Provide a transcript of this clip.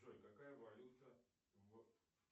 джой какая валюта в